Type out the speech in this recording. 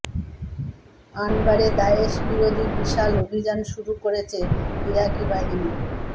আনবারে দায়েশ বিরোধী বিশাল অভিযান শুরু করেছে ইরাকি বাহিনী